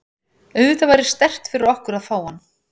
Auðvitað væri sterkt fyrir okkur að fá hann.